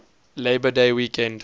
labor day weekend